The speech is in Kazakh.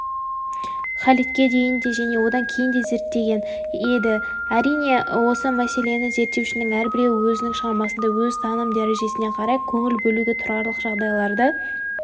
халидке дейін де және онан кейін де зерттеген еді әрине осы мәселені зерттеушінің әрбіреуі өзінің шығармасында өз таным дәрежесіне қарай көңіл бөлуге тұрарлық жағдайларды